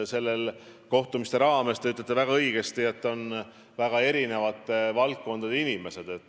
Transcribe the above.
Nendel kohtumistel osalevad, nagu te õigesti ütlesite, väga erinevate valdkondade inimesed.